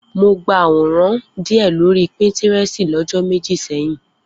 Mo gba àwọn àwòrán díẹ̀ lórí píńtírẹ́sì lọ́jọ́ méjì sẹ́yìn.